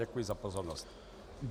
Děkuji za pozornost.